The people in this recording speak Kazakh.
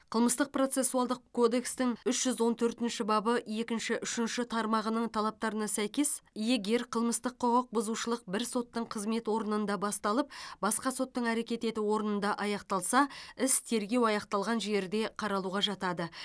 қылмыстық процессуалдық кодекстің үш жүз он төртінші бабы екінші үшінші тармағының талаптарына сәйкес егер қылмыстық құқық бұзушылық бір соттың қызмет орнында басталып басқа соттың әрекет ету орнында аяқталса іс тергеу аяқталған жерде қаралуға жатады